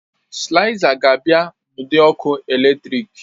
Sịlaizas ga-abịa n'ụdị ọkụ eletrik